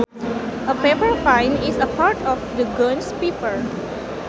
A pepper vine is part of the genus Piper